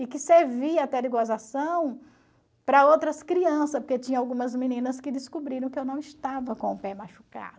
E que servia até de gozação para outras crianças, porque tinha algumas meninas que descobriram que eu não estava com o pé machucado.